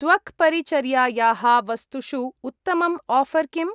त्वक्परिचर्यायाः वस्तुषु उत्तमम् आफर् किम्?